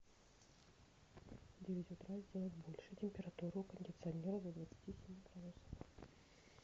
в девять утра сделать больше температуру у кондиционера до двадцати семи градусов